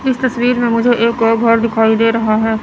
इस तस्वीर में मुझे एक और घर दिखाई दे रहा है।